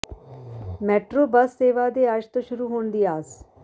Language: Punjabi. ਮੈਟਰੋ ਬੱਸ ਸੇਵਾ ਦੇ ਅੱਜ ਤੋਂ ਸ਼ੁਰੂ ਹੋਣ ਦੀ ਆਸ